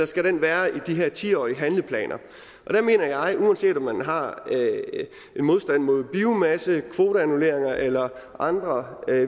skal være i de her ti årige handleplaner der mener jeg uanset om man har en modstand mod biomasse kvoteannulleringer eller andre